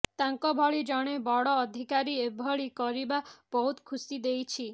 ତାଙ୍କ ଭଳି ଜଣେ ବଡ ଅଧିକାରୀ ଏଭଳି କରିବା ବହୁତ ଖୁସି ଦେଇଛି